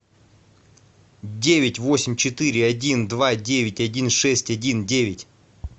девять восемь четыре один два девять один шесть один девять